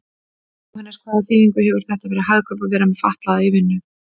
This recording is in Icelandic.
Jóhannes: Hvaða þýðingu hefur þetta fyrir Hagkaup að vera með fatlaða í vinnu?